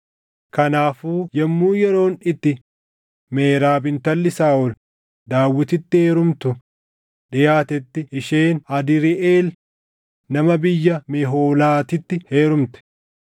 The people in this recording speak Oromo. Kanaafuu yommuu yeroon itti Meerab intalli Saaʼol Daawititti heerumtu dhiʼaatetti isheen Adriiʼeel nama biyya Mehoolaatitti heerumte.